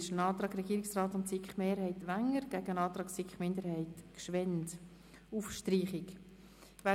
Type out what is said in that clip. Es liegt ein Antrag Regierungsrat/SiKMehrheit gegen einen Antrag SiK-Minderheit auf Streichung vor.